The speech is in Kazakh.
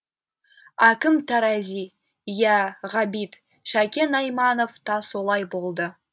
әкім тарази иә ғабит шәкен айманов та солай болды